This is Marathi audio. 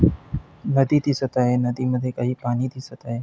नदी दिसत आहे नदीमध्ये काही पाणी दिसत आहे.